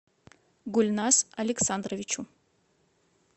гульназ александровичу